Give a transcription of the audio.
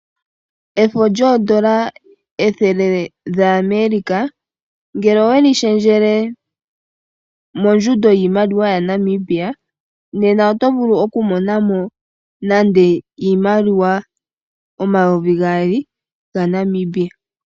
Efo lyoondola ethele lyaAmerika, ngele oweli shendjele mondjundo yiimaliwa yaNamibia, nena oto vulu okumona mo nade iimaliwa omayovi gaali gaNamibia.